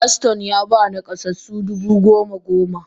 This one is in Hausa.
Paston Yaba nakasassu dubu goma goma.